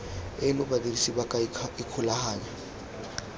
eno badirisi ba ka ikgolaganya